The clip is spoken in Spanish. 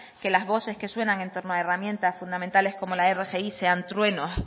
que las voces que suenan en torno a herramientas fundamentales como la rgi sean truenos